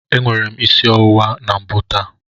Enwere m isi ọwụwa na mbụ taa.